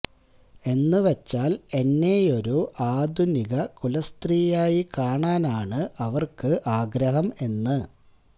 എന്ന് വച്ചാല് എന്നെയൊരു ആധുനിക കുലസ്ത്രീയായി കാണാനാണ് അവര്ക്ക് ആഗ്രഹം എന്ന്